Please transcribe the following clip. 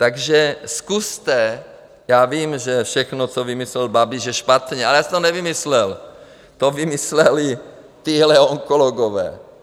Takže zkuste - já vím, že všechno, co vymyslel Babiš je špatně, ale já jsem to nevymyslel, to vymysleli tihle onkologové.